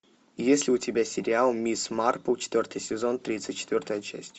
есть ли у тебя сериал мисс марпл четвертый сезон тридцать четвертая часть